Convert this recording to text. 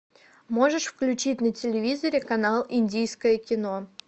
можешь включить на телевизоре канал индийское кино